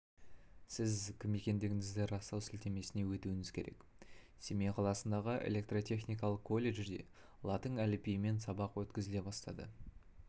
сіз кім екендігіңізді растау сілтемесіне өтуіңіз керек семей қаласындағы электротехникалық колледжде латын әліпбиімен сабақ өткізіле бастады